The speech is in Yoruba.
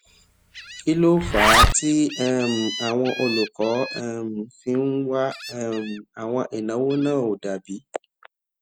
kí ló fà á tí um àwọn olùkó um fi ń wá um àwọn ìnáwó náà ó dà bíi